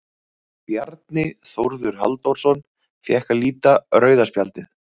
Bjarni Þórður Halldórsson fékk að líta rauða spjaldið.